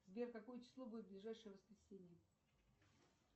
сбер какое число будет в ближайшее воскресенье